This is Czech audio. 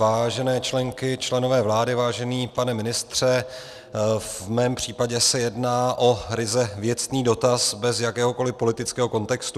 Vážené členky, členové vlády, vážený pane ministře, v mém případě se jedná o ryze věcný dotaz bez jakéhokoli politického kontextu.